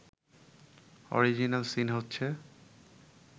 original scene হচ্ছে